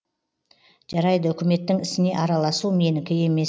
жарайды үкіметтің ісіне араласу менікі емес